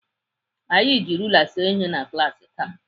Anyị ji rula see ihe na klaasị taa.